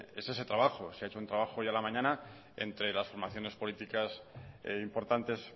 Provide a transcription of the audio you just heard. es ese trabajo se ha hecho un trabajo hoy a la mañana entre las formaciones políticas importantes